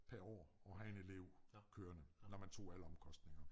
Per år at have en elev kørende når man tog alle omkostninger med